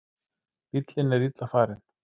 Bíllinn er illa farinn